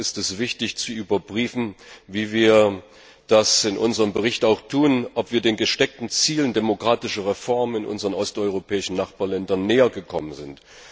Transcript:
Dennoch ist es wichtig zu überprüfen, wie wir das in unserem Bericht auch tun, ob wir den gesteckten Zielen demokratischer Reformen in unseren osteuropäischen Nachbarländern nähergekommen sind.